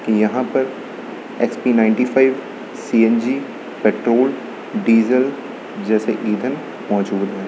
यहां पर XP ninety five CNG petrol diesel जैसे ईंधन मौजूद है।